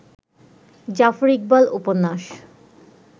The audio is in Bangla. জাফর ইকবাল উপন্যাস